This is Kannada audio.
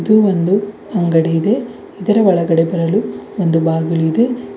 ಇದು ಒಂದು ಅಂಗಡಿ ಇದೆ ಇದರ ಒಳಗೆ ಬರಲು ಒಂದು ಬಾಗಿಲು ಇದೆ.